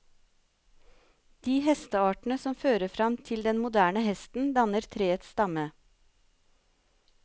De hesteartene som fører fram til den moderne hesten, danner treets stamme.